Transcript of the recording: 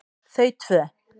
Þau tvö